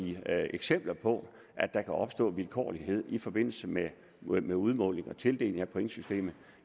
eksempler på at der kan opstå vilkårlighed i forbindelse med med udmåling og tildeling pointsystemet